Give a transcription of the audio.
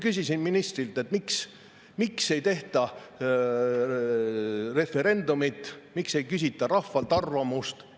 Küsisin ministrilt, miks ei tehta referendumeid, miks ei küsita rahvalt arvamust.